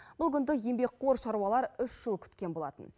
бұл күнді еңбекқор шаруалар үш жыл күткен болатын